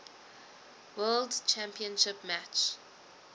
world championship match